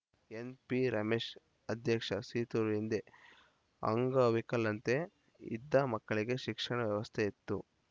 ಎನ್‌ಪಿರಮೇಶ್‌ ಅಧ್ಯಕ್ಷ ಸೀತೂರು ಹಿಂದೆ ಅಂಗವಿಕಳಂತೆ ಇದ್ದ ಮಕ್ಕಳಿಗೆ ಶಿಕ್ಷಣ ವ್ಯವಸ್ಥೆ ಇತ್ತು